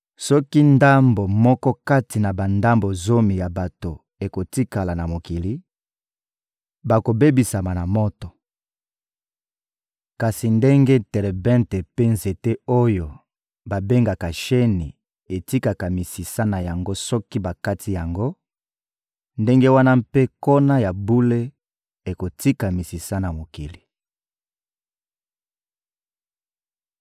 Soki ndambo moko kati na bandambo zomi ya bato ekotikala na mokili, bakobebisama na moto. Kasi ndenge terebente mpe nzete oyo babengaka sheni etikaka misisa na yango soki bakati yango, ndenge wana mpe nkona ya bule ekotika misisa na mokili.